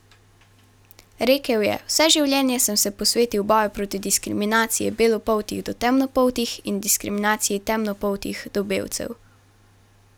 Rekel je: "Vse življenje sem se posvetil boju proti diskriminaciji belopoltih do temnopoltih in diskriminaciji temnopoltih do belcev.